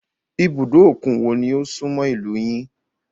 Ibùdó òkun wo ni ó súnmọ́ ìlúu yín?